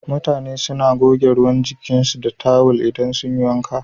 mutane suna goge ruwan jikinsu da tawil idan sun yi wanka.